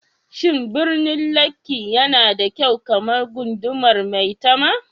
Shin birnin Lekki yana da kyau kamar gundumar Maitama?